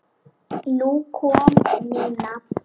Nú kom Nína.